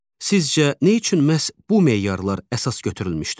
Sizcə nə üçün məhz bu meyarlar əsas götürülmüşdür?